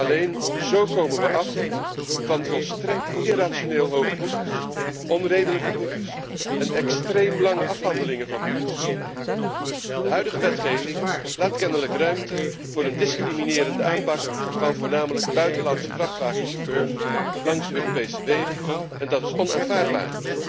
Alleen zo komen we af van volstrekt irrationeel hoge boetes, onredelijke boetes en extreem lange afhandelingen van boetes. De huidige wetgeving laat kennelijk ruimte voor een discriminerende aanpak van voornamelijk buitenlandse vrachtwagenchauffeurs langs de Europese wegen en dat is onaanvaardbaar.